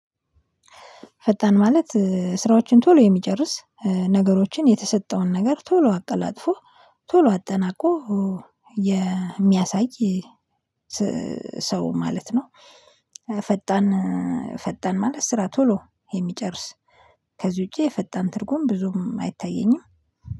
ፈጣን ማለት ስራዎችን ቶሎ የሚጨርስ ነገሮችን የተሰጠውን ነገር ቶሎ አቀላጥፎ ቶሎ አጠናቆ የሚያሳይ ሰው ማለት ነው። ፈጣን ፈጣን ማለት ስራ ቶሎ የሚጨርስ ከዚህ ውጪ የፈጣን ትርጉም ብዙም አይታየኝም